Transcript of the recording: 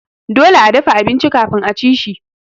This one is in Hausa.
Dole a dafa abinci kafin aci shi.